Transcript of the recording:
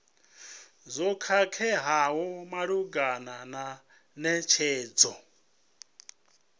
zwo khakheaho malugana na netshedzo